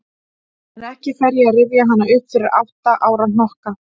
En ekki fer ég að rifja hana upp fyrir átta ára hnokka.